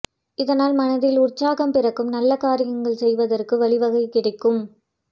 இதனால் மனதில் உற்சாகம் பிறக்கும் நல்ல காரியங்கள் செய்வதற்கு வழி வகைகள் கிடைக்கும்